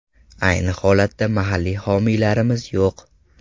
Ayni holatda mahalliy homiylarimiz yo‘q.